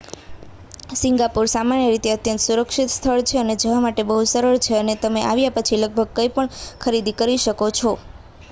Singapore સામાન્ય રીતે અત્યંત સુરક્ષિત સ્થળ છે અને જવા માટે બહુ સરળ છે અને તમે આવ્યા પછી લગભગ કઈં પણ ખરીદી શકો છો